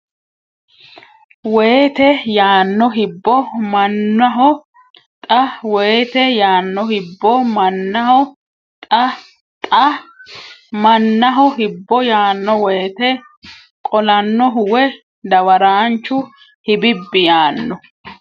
woyte yaanno Hibbo mannohu Xa woyte yaanno Hibbo mannohu Xa Xa mannohu Hibbo yaanno woyte qolannohu woy dawaraanchu Hibibbi yaanno !